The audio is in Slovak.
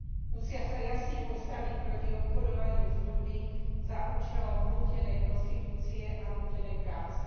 Musia sa jasne postaviť proti obchodovaniu s ľuďmi za účelom nútenej prostitúcie a nútenej práce.